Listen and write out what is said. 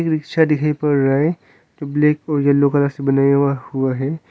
Rickshaw दिखाई पड़ रहा है ब्लैक और एलो कलर से बनाया हुआ है।